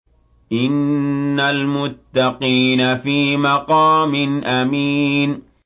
إِنَّ الْمُتَّقِينَ فِي مَقَامٍ أَمِينٍ